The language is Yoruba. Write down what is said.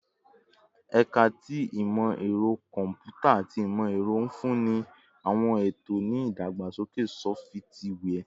Ẹka ti Imọ-ẹrọ Kọmputa ati Imọ-ẹrọ nfunni awọn eto ni idagbasoke sọfitiwia